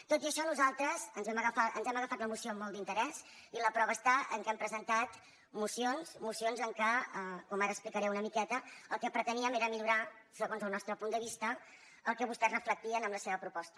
tot i això nosaltres ens hem agafat la moció amb molt d’interès i la prova està en el fet que hem presentat mocions amb què com ara explicaré una miqueta el que preteníem era millorar segons el nostre punt de vista el que vostès reflectien en la seva proposta